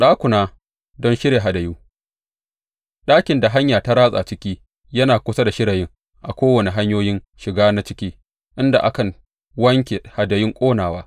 Ɗakuna don shirya hadayu Ɗakin da hanya ta ratsa ciki yana kusa da shirayin a kowane hanyoyin shiga na ciki, inda a kan wanke hadayun ƙonawa.